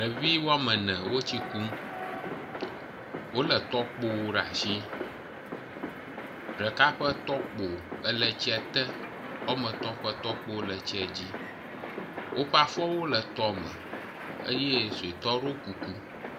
Ɖevi woame ene wo tsi kum, wole tɔkpowo ɖe asi ɖeka ƒe tɔkpo ele tsia te woametɔ ƒe tɔkpo le tsi dzi woƒe afɔwo le tɔme eye suetɔ aɖe ɖɔ kuku.